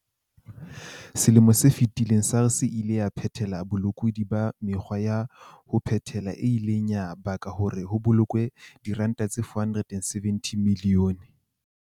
Selemong se fetileng, SARS e ile ya phethela bolekudi ba mekgwa ya ho phela e ileng ya baka hore ho bokellwe R474 milione.